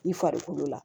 I farikolo la